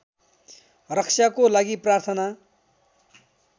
रक्षाको लागि प्रार्थना